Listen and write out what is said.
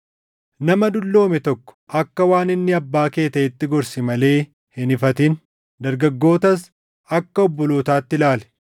Nama dulloome tokko akka waan inni abbaa kee taʼeetti gorsi malee hin ifatin. Dargaggootas akka obbolootaatti ilaali;